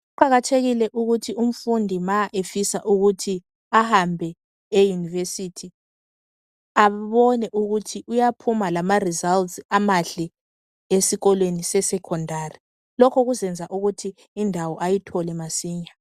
Kuqakathekile ukuthi umfundi ma efisa ukuthi ahambe eYunivesi abone ukuthi uyaphuma lama"results" amahle esikolweni seSekhondari. Lokhu kuzayenza ukuthi indawo ayithole masinya.